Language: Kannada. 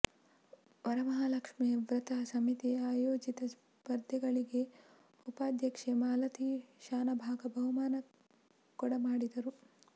ವರಮಹಾಲಕ್ಷ್ಮೀ ವ್ರತ ಸಮಿತಿ ಆಯೋಜಿತ ಸ್ಪರ್ಧೆಗಳಿಗೆ ಉಪಾಧ್ಯಕ್ಷೆ ಮಾಲತಿ ಶಾನಭಾಗ ಬಹುಮಾನ ಕೊಡಮಾಡಿದರು